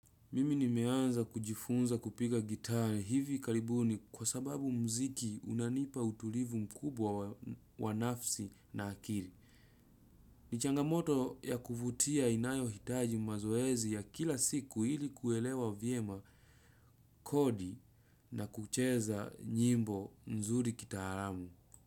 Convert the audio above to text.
Mimi nimeanza kujifunza kupiga gitari hivi kalibuni kwa sababu mziki unanipa utulivu mkubwa wa nafsi na akiri. Ni changamoto ya kuvutia inayohitaji mazoezi ya kila siku hili kuelewa vyema kodi na kucheza nyimbo nzuri kitaramu.